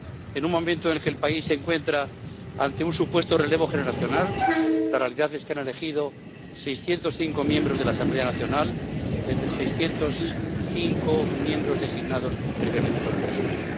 En un momento en que el país se encuentra ante un supuesto relevo generacional, la realidad es que han elegido 605 miembros de la Asamblea Nacional entre 605 miembros designados previamente por el régimen.